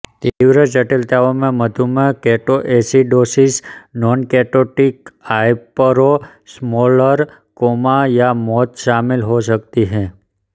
तीव्र जटिलताओं में मधुमेह केटोएसिडोसिस नॉनकेटोटिक हाइपरोस्मोलर कोमा या मौत शामिल हो सकती है